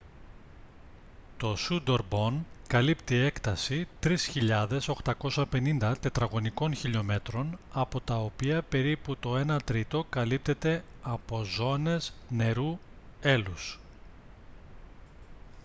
το σούντορμπον καλύπτει έκταση 3.850 τετραγωνικών χιλιομέτρων από τα οποία περίπου το ένα τρίτο καλύπτεται από ζώνες νερού/έλους